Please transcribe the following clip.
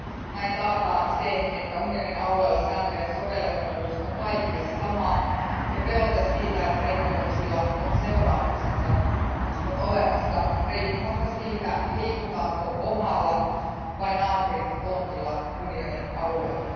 Näin taataan se, että unionin alueella sääntöjen sovellettavuus on kaikille sama ja pelote siitä, että rikkomuksilla on seuraamuksensa, on olemassa riippumatta siitä, liikutaanko omalla vai naapurin tontilla unionin alueella.